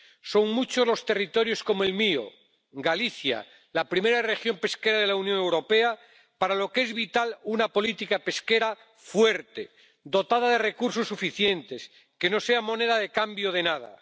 Son muchos los territorios como el mío —Galicia, la primera región pesquera de la Unión Europea— para los que es vital una política pesquera fuerte, dotada de recursos suficientes, que no sea moneda de cambio de nada.